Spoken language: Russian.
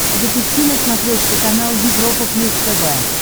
запусти на смотрешке канал европа плюс тв